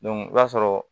i b'a sɔrɔ